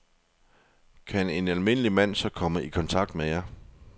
Kan en almindelig mand så komme i kontakt med jer?